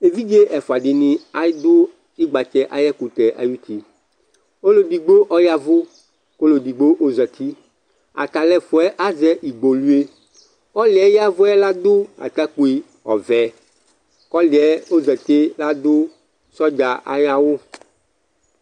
ɛvidzɛ ẽdfuɑ ɗini ɑɖω ikgbɑtsɛ ɑyɛkωtɛ ɑyωti ɔlωɛɖigbo ɔyɛvω kω ɔlωɛ digbõzɑti ɑtɑluɛƒωɛ ɑzɛ ĩgbọluɛ ɔlωɛ ƴɛvωɛ lɑɖu ɑtɑkpωi ɔvẽ kɔlωɛzɑtiɛ ɑɖω ṣɔɖzɑ ɑyɑwω